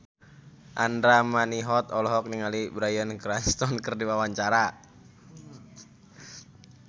Andra Manihot olohok ningali Bryan Cranston keur diwawancara